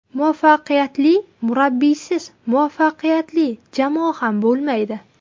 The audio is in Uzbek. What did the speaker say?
Muvaffaqiyatli murabbiysiz, muvaffaqiyatli jamoa ham bo‘lmaydi.